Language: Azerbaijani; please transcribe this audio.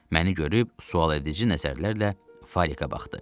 Məni görüb sualedici nəzərlərlə Falikə baxdı.